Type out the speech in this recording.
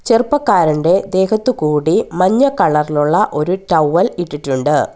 ചെറുപ്പക്കാരൻ്റെ ദേഹത്ത് കൂടി മഞ്ഞ കളറിലുള്ള ഒരു ടവൽ ഇട്ടിട്ടുണ്ട്.